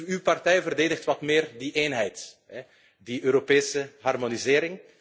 Uw partij verdedigt wat meer die eenheid, die Europese harmonisatie.